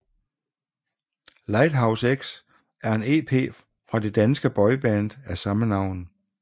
Lighthouse X er en EP fra det danske boyband af samme navn